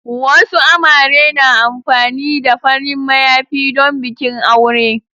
Wasu amare na amfani da farin mayafi don bikin aure.